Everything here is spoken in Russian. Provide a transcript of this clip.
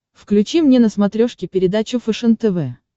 включи мне на смотрешке передачу фэшен тв